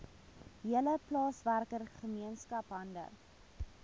hele plaaswerkergemeenskap hande